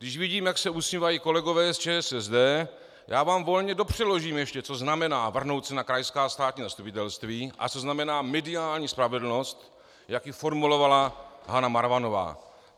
Když vidím, jak se usmívají kolegové z ČSSD, já vám volně dopřeložím ještě, co znamená vrhnout se na krajská státní zastupitelství a co znamená mediální spravedlnost, jak ji formulovala Hana Marvanová.